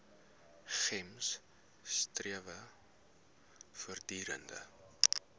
gems strewe voortdurend